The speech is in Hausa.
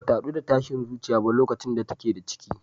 Bata haɗu da tashin zuciya ba lokacin da take da ciki.